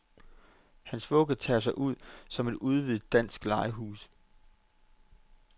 Hans vugge tager sig ud som et udvidet dansk legehus.